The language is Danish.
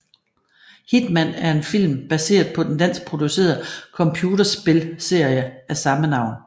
Hitman er en film baseret på den danskproducerede computerspilsserie af samme navn